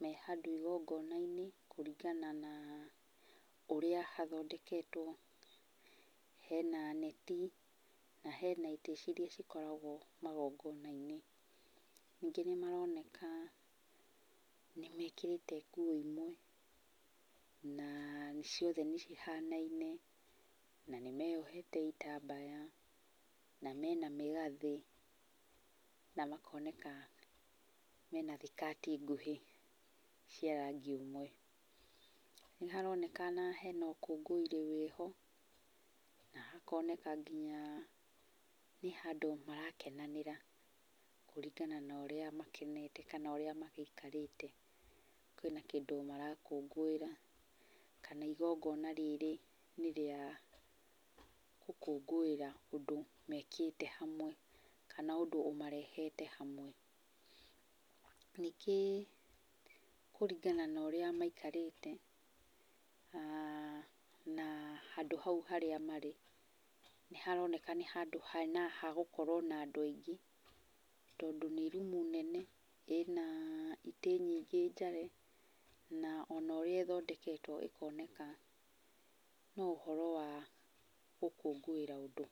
me handũ ĩgongona-inĩ kũringana na ũrĩa hathondeketwo. Hena neti na hena itĩ cirĩa cikoragwo magongona-inĩ. Nĩngi nĩmaroneka nĩ mĩkĩrĩte nguo ĩmwe, na ciothe nĩ cihanaine na nĩmeyohete ĩtambaya, na mena mĩgathĩ, na makoneka mena thĩkati ngũhĩ cia rangi ũmwe. Nĩ haronekana hena ũkũngũĩri wĩho, na hakoneka nginya nĩ handũ marakenanĩra, kũringana na ũrĩa makenete kana ũrĩa magĩikarĩte. Kwĩna kĩndũ marakũngũĩra, kana ĩgongona rĩrĩ nĩ rĩa gũkũngũĩra ũndũ mekĩte hamwe kana undũ ũmarehete hamwe. Nĩngĩ kũringana na ũrĩa maikarĩte aah na handũ hau harĩa marĩ, nĩ haroneka nĩ handũ hegũkorwo na andũ aingĩ, tondũ nĩ rumu nene, ĩna itĩ nyingĩ njare, na ona ũrĩa ĩthondeketwo ĩkoneka no ũhoro wa gũkũngũĩra ũndũ.